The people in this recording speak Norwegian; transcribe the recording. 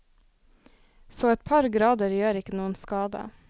Så et par grader gjør ikke noen skade.